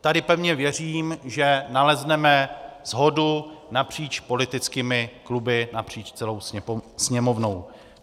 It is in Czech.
Tady pevně věřím, že nalezneme shodu napříč politickými kluby, napříč celou Sněmovnou.